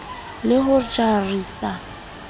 le ho ja re sa